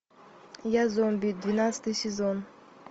я зомби двенадцатый сезон